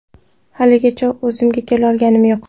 Haligacha o‘zimga kelolganim yo‘q.